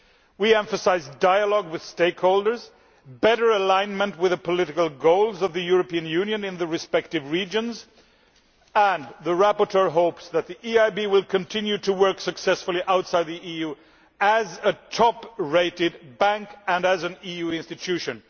We emphasise dialogue with stakeholders and better alignment with the political goals of the European Union in the respective regions, and the rapporteur hopes that the EIB will continue to work successfully outside the EU as a top rated bank and as an EU institution.